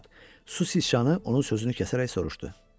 Bu vaxt su siçanı onun sözünü kəsərək soruşdu.